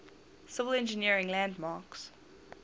civil engineering landmarks